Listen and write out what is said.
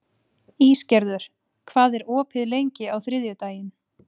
Ísgerður, hvað er opið lengi á þriðjudaginn?